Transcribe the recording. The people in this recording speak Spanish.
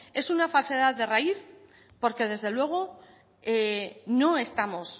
es una falsedad de raíz porque desde luego no estamos